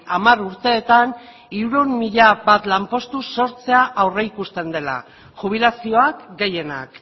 hamar urteetan hirurehun mila bat lanpostu sortzea aurreikusten dela jubilazioak gehienak